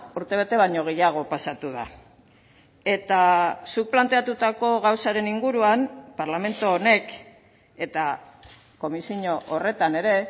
urtebete baino gehiago pasatu da eta zuk planteatutako gauzaren inguruan parlamentu honek eta komisio horretan ere